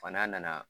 Fa n'a nana